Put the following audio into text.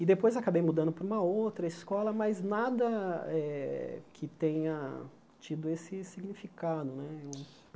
E, depois, acabei mudando para uma outra escola, mas nada eh que tenha tido esse significado. né